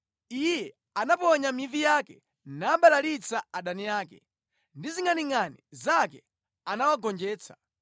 Iye anaponya mivi yake, nabalalitsa adani ake, ndi zingʼaningʼani zake anawagonjetsa.